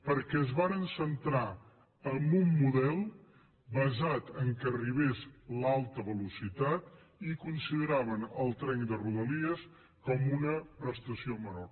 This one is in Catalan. perquè es varen centrar en un model basat en el fet que arribés l’alta velocitat i consideraven el tren de rodalies com una prestació menor